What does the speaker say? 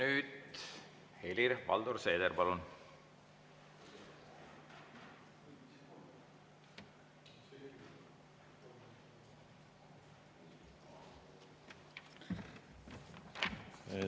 Nüüd Helir-Valdor Seeder, palun!